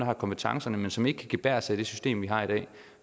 har kompetencerne men som ikke kan gebærde sig i det system vi har i dag